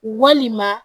Walima